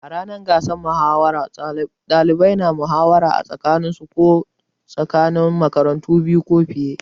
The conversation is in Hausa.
A ranar gasar muhawara, ɗalibai na muhawara a tsakaninsu ko tsakanin makarantu biyu ko fiye.